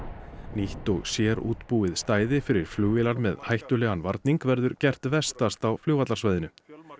nýtt og sérútbúið stæði fyrir flugvélar með hættulegan varning verður gert vestast á flugvallarsvæðinu